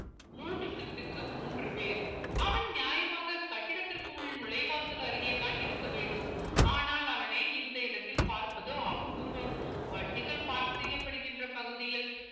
மூன்று shift க்கு மூன்று பேர் அவன் நியாயமாக கட்டிடத்திற்குள் நுழைவாசல் அருகே தான் இருக்க வேண்டும் ஆனால் அவனை இந்த இடத்தில பார்ப்பதோ அபூர்வம் வண்டிகள் park செய்யப்படுகின்ற பகுதியில்